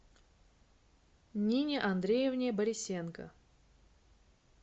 нине андреевне борисенко